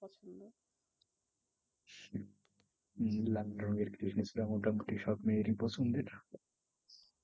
হম লালরঙের কৃষ্ণচূড়া মোটামুটি সব মেয়েরই পছন্দের।